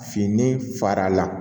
Fini farala